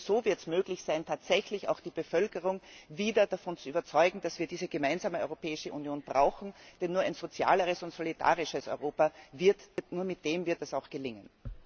Denn nur so wird es möglich sein, tatsächlich auch die Bevölkerung wieder davon zu überzeugen, dass wir diese gemeinsame Europäische Union brauchen. Denn nur mit einem sozialeren und solidarischen Europa wird es auch gelingen!